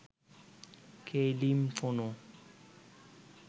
Kaylin কোনো